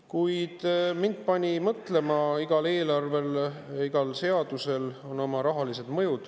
Kuid mind pani see mõtlema seda, et igal eelarvel ja igal seadusel on oma rahaline mõju.